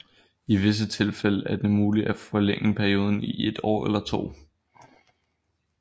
I visse tilfælde er det muligt at forlænge perioden i et eller to år